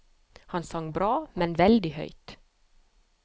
Han sang bra, men veldig høyt.